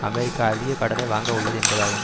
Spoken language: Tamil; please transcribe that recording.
அமெரிக்கா அதிக கடனை வாங்க உள்ளது என்பதாகும்